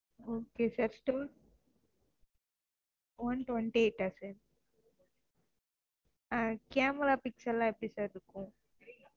okay sir simone twenty-eight ஆஹ் sir ஆஹ் camera pixel லா எப்படி sir இருக்கும்